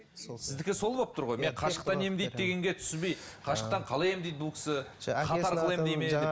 сіздікі сол болып тұр ғой мен қашықтықтан емдейді дегенге түсінбей қашықтықтан қалай емдейді бұл кісі хат арқылы емдейді ме деп